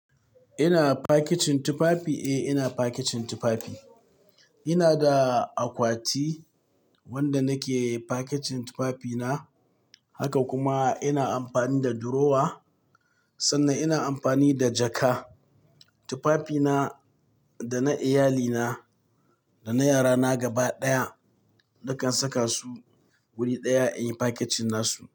Ina packaging tufafi, eh! Ina packaging tufafi. Ina da akwati wanda nake packaging tufafina, haka kuma ina amfani da durowa, sannan ina amfani da jaka. Tufafina da na iyalina da na yarana gaba ɗaya, dukan saka su wuri ɗaya in yi packaging nasu.